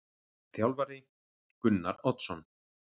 Þjálfari: Gunnar Oddsson.